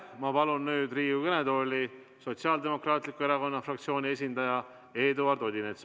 Ma palun Riigikogu kõnetooli Sotsiaaldemokraatliku Erakonna fraktsiooni esindaja Eduard Odinetsi.